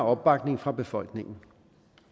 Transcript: opbakning fra befolkningen